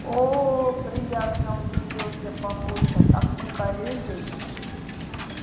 оо приятно удивился папулька так мы коллеги